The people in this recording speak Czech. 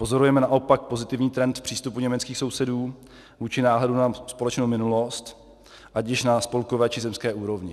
Pozorujeme naopak pozitivní trend v přístupu německých sousedů vůči náhledu na společnou minulost, ať již na spolkové, či zemské úrovni.